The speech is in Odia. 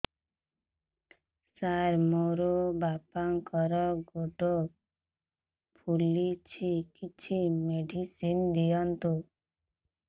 ସାର ମୋର ବାପାଙ୍କର ଗୋଡ ଫୁଲୁଛି କିଛି ମେଡିସିନ ଦିଅନ୍ତୁ